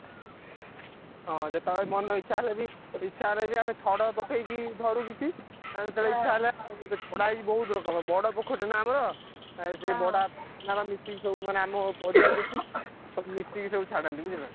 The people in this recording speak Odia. ହଁ ଯେତବେଳେ ମନ ଇଛା ହେଲେ ବି ଇଚ୍ଛା ହେଲେବି ଆମେ ଛଡ ପକେଇକି ଧରୁ କିଛି। ଆମ ଯେତବେଳେ ଇଚ୍ଛା ହେଲା ଛଡା ହେଇଛି ବହୁତ ରକମର ବଡ ପୋଖରୀ ଟେ ନା ଆମର। ଆଉ ସେ ବଡ ମିଶିକି ସବୁ ମାନେ ଆମ ପରିବାର ଯେତିକି ସବୁ ମିଶିକି ସବୁ ଛାଡ଼ନ୍ତି ବୁଝିଲ।